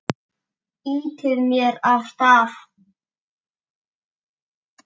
Ýtir mér af stað.